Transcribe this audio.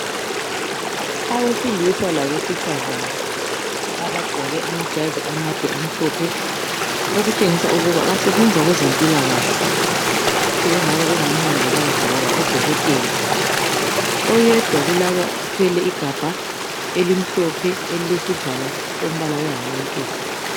Abesilisa labesifazana abagqoke amajazi amhlophe. Okutshengisa ukuba basebenza kwezempilakahle. Sebengaba ngomongikazi kumbe odokotela. Oyedwa igabha elimhlophe elilesivalo sombala wehslantshisi.